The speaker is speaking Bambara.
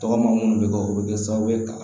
Tɔgɔma munnu bɛ kɛ o bɛ kɛ sababu ye ka